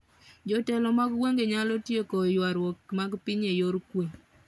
Jotelo mag gwenge nyalo tieko ywaruok mag piny e yor kuwe